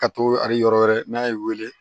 Ka to ali yɔrɔ wɛrɛ n'a y'i weele